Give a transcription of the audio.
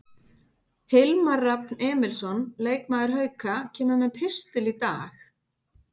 Hilmar Rafn Emilsson, leikmaður Hauka, kemur með pistil í dag.